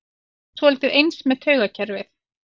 Þetta er kannski svolítið eins með taugakerfið.